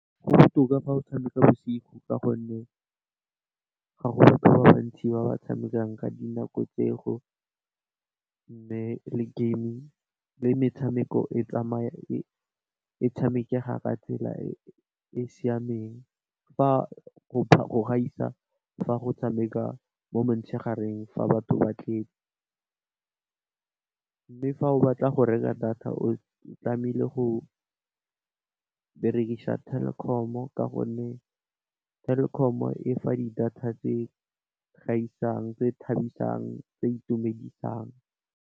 Go botoka fa o tshameka bosigo ka gonne, ga go batho ba bantsi ba ba tshamekang ka di nako tseo mme, le gaming, le metshameko tshamekega ka tsela e e siameng. Fa go gaisa fa go tshameka mo motshegareng fa batho ba tletse mme, fa o batla go reka data o tlamehile go berekisa Telkom ka gonne, Telkom e fa di data tse gaisang, tse thabisang, tse di itumedisang.